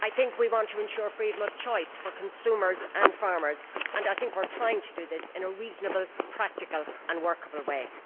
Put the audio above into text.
We want to ensure freedom of choice for consumers and farmers and we are trying to do this in a reasonable, practical and workable way.